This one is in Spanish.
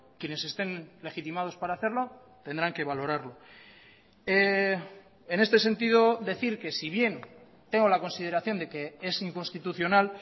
quienes estén legitimados para hacerlo tendrán que valorarlo en este sentido decir que si bien tengo la consideración de que es inconstitucional